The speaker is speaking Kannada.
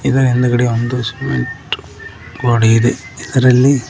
ಇದರ ಹಿಂದ್ಗಡೆ ಒಂದು ಸಿಮೆಂಟ್ ಗ್ವಾಡೆ ಇದೆ ಇದರಲ್ಲಿ--